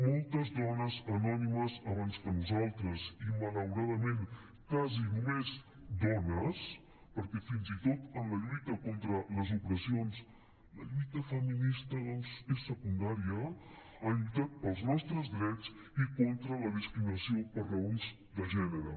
moltes dones anònimes abans que nosaltres i malauradament quasi només dones perquè fins i tot en la lluita contra les opressions la lluita feminista doncs és secundària han lluitat pels nostres drets i contra la discriminació per raons de gènere